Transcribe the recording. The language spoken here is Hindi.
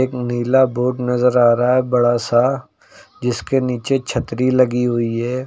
नीला बोर्ड नजर आ रहा है बड़ा सा जिसके नीचे छतरी लगी हुई है।